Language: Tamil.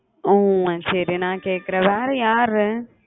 ஹம் சரி நான் கேக்குறன் வேற யாரு